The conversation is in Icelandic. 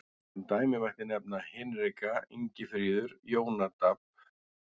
Sem dæmi mætti nefna Hinrika, Ingifríður, Jónadab.